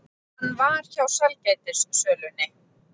Hann var hjá sælgætissölunni.